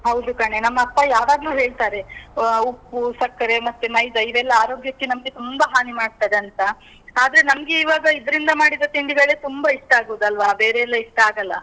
ಹೌದು ಕಣೇ. ನಮ್ಮಪ್ಪ ಯಾವಾಗ್ಲೂ ಹೇಳ್ತಾರೆ. ಅಹ್ ಉಪ್ಪು, ಸಕ್ಕರೆ ಮತ್ತೆ ಮೈದಾ ಇವೆಲ್ಲಾ ಆರೋಗ್ಯಕ್ಕೆ ನಮ್ಗೆ ತುಂಬ ಹಾನಿ ಮಾಡ್ತದೆ ಅಂತ. ಆದ್ರೆ ನಮ್ಗೆ ಇವಾಗ ಇದ್ರಿಂದ ಮಾಡಿದ ತಿಂಡಿಗಳೇ ತುಂಬ ಇಷ್ಟ ಆಗುದು ಅಲ್ವಾ? ಬೇರೆ ಎಲ್ಲ ಇಷ್ಟ ಆಗಲ್ಲ.